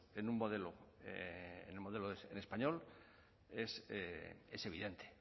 en un modelo en el modelo en español es evidente